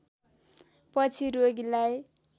पछि रोगीलाई